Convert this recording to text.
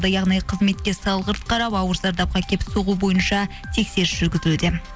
яғни қызметке салғырт қарап ауыр зардапқа әкеп соғу бойынша тексеріс жүргізілуде